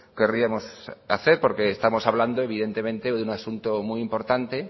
querríamos hacer porque estamos hablando evidentemente hoy de un asunto muy importante